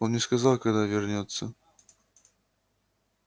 он не сказал когда вернётся